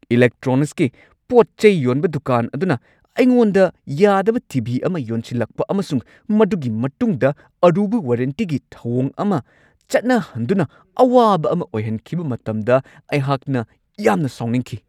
ꯏꯂꯦꯛꯇ꯭ꯔꯣꯅꯤꯛꯁꯀꯤ ꯄꯣꯠ-ꯆꯩ ꯌꯣꯟꯕ ꯗꯨꯀꯥꯟ ꯑꯗꯨꯅ ꯑꯩꯉꯣꯟꯗ ꯌꯥꯗꯕ ꯇꯤ.ꯚꯤ. ꯑꯃ ꯌꯣꯟꯁꯤꯜꯂꯛꯄ ꯑꯃꯁꯨꯡ ꯃꯗꯨꯒꯤ ꯃꯇꯨꯡꯗ ꯑꯔꯨꯕ ꯋꯥꯔꯦꯟꯇꯤꯒꯤ ꯊꯧꯋꯣꯡ ꯑꯃ ꯆꯠꯅꯍꯟꯗꯨꯅ ꯑꯋꯥꯕ ꯑꯃ ꯑꯣꯏꯍꯟꯈꯤꯕ ꯃꯇꯝꯗ ꯑꯩꯍꯥꯛꯅ ꯌꯥꯝꯅ ꯁꯥꯎꯅꯤꯡꯈꯤ ꯫